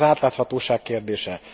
Az egyik az átláthatóság kérdése.